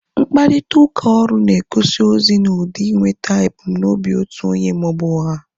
Mkparịta ụka ọrụ na egosi ozi na ụdị inweta ebumnobi otu onye maọbụ ọha